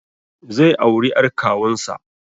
Zai auri ƴar kawunsa